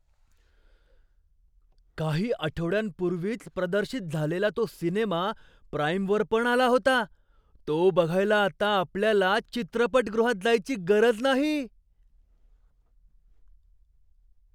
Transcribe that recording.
काही आठवड्यांपूर्वीच प्रदर्शित झालेला तो सिनेमा प्राईमवर पण आला होता! तो बघायला आता आपल्याला चित्रपटगृहात जायची गरज नाही!